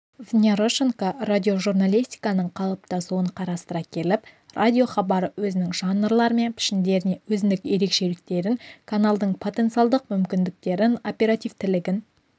внярошенко радиожурналистиканың қалыптасуын қарастыра келіп радиохабары өзінің жанрлары мен пішіндеріне өзіндік ерекшелігін каналдың потенциалдық мүмкіндіктерін оперативтілігін